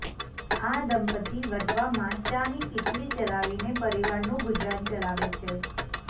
આ દંપત્તિ વટવામાં ચાની કીટલી ચલાવીને પરિવારનું ગુજરાન ચલાવે છે